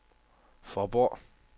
Faaborg